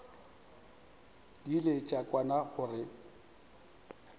di ile tša kwana gore